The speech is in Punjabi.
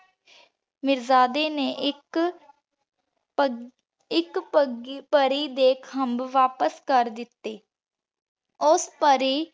ਮੀਰਜ਼ਾਦੇ ਨੇ ਇਕ ਇਕ ਪੱਗ ਪਰੀ ਦੇ ਖੰਭ ਵਾਪਿਸ ਕਰ ਦਿਤੇ। ਓਸ ਪਾਰੀ